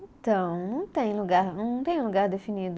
Então, não tem lugar, não tem lugar definido.